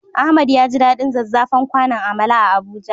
Ahmad yaji daɗin zazzafan kwanon amala a Abuja.